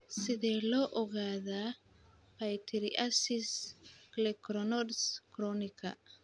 Sidee loo ogaadaa pityriasis lichenoides chronica?